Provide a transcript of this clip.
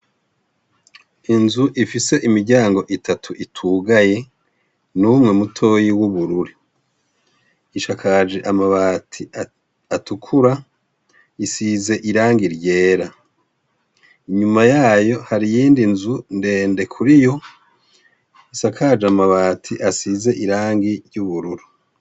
Inzu ifise imiryango itatu itugaye n'umwe mutoyi w'ubururu , isakaje amabati atukura, isize irangi ryera, inyuma yayo hari iyindi nzu ndende kuri yo isakaje amabati asize irangi ry'ubururu.